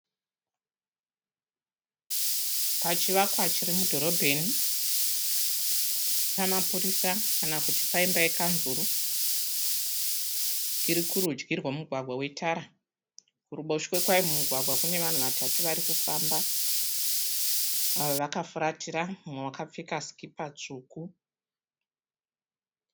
Pachivakwa chiri mudhorobheni. Pamapurisa kana kuti paimba yekanzuru. Irikurudyi rwemugwagwa wetara. Kuruboshwe kwayo mumugwagwa kune vanhu vatatu varikufamba vakafuratira umwe akapfeka sikipa tsvuku.